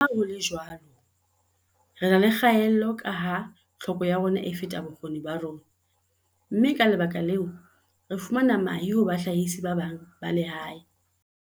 "Leha ho le jwalo, re na le kgaello kaha tlhoko ya rona e feta bokgoni ba rona mme, ka lebaka leo, re fumana mahe ho bahlahisi ba bang ba lehae."